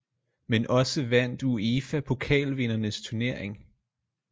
Men også vandt uefa pokalvindernes turnering